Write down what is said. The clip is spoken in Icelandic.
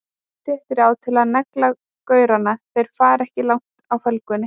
Pottþétt ráð til að negla gaurana, þeir fara ekki langt á felgunni!